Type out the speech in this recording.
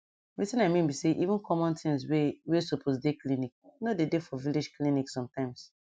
wetin i mean be say even common things wey wey supose dey clinic nor dey dey for village clinic sometimes